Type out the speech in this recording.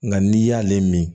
Nka n'i y'ale min